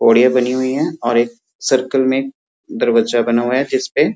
जोड़ियाँ बनी हुई हैं और एक सर्किल में दरवाजा बना हुआ है जिसपे --